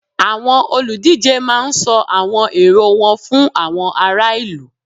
Àwọn olùdíje máá ń sọ àwọn èrò wọn fún àwọn ará ìlú